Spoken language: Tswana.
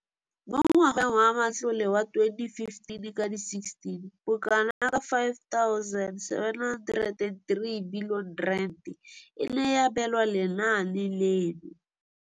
Mo ngwageng wa matlole wa 2015,16, bokanaka R5 703 bilione e ne ya abelwa lenaane leno.